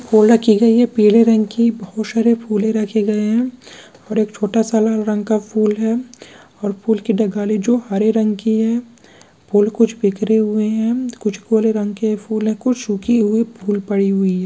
फूले रखी गयी है पिले रंग की बहुत सारे फूले रखे गए है और एक छोटा सा लाल रंग के फूल है और फूल की डाली हरे रंग की है फूल कुछ बिखरे हुए है कुछ काले रंग के फूल है कुछ सूखे हुए फूल पड़ी हुई है।